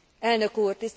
Elnök úr!